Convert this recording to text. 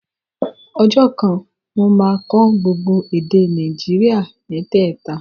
Ọjọ́ kan, mo máa kọ́ gbogbo èdè Nàìjíríà mẹ́tẹ̀ta